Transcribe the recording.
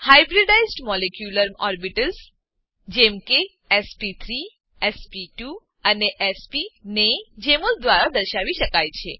hybridised molecular orbitals hybridised molecular orbitals જેમ કે SP three SP two અને એસપી ને જેમોલ દ્વારા દર્શાવી શકાય છે